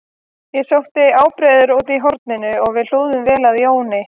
Ég sótti ábreiður úr horninu og við hlúðum vel að Jóni